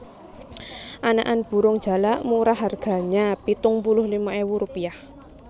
Anakan burung jalak murah harganya pitung puluh lima ewu rupiah